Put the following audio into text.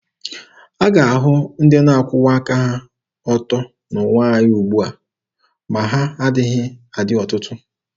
A ga-ahụ ndị na-akwụwa aka ha ọtọ n'ụwa anyị ugbua, ma na ha agaghị adị ọtụtụ.